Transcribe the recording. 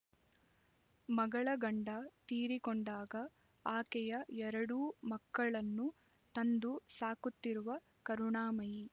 ಮಗಳ ಗಂಡ ತೀರಿಕೊಂಡಾಗ ಆಕೆಯ ಎರಡೂ ಮಕ್ಕಳನ್ನು ತಂದು ಸಾಕುತ್ತಿರುವ ಕರುಣಾಮಯಿ